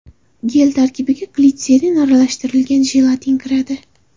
Gel tarkibiga glitserin aralashtirilgan jelatin kiradi.